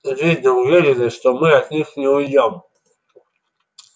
видно уверены что мы от них не уйдём